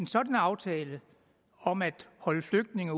sådan aftale om at holde flygtninge